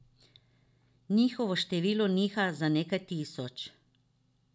Njihovo število niha za nekaj tisoč.